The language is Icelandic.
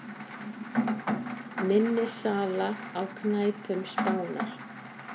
Minni sala á knæpum Spánar